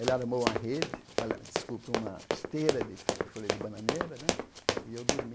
Ela armou uma rede, ali desculpe, uma esteira de de folha de bananeira né e eu dormi.